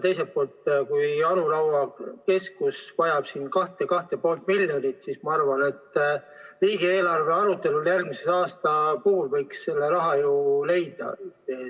Teiselt poolt, kui Anu Raua keskus vajab 2 või 2,5 miljonit, siis ma arvan, et järgmise aasta riigieelarve arutelul võiks selle raha ju leida.